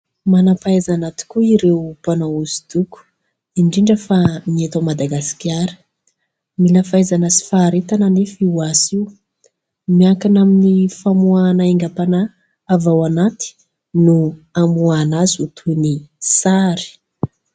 Manam-pahaizana tokoa ireo mpanao hosodoko ; indrindra fa ny eto Madagasikara. Mila fahaizana sy faharetana anefa io asa io, miankina amin'ny famoahana haingam-panahy avy ao anaty no hamoahana azy ho toy ny sary.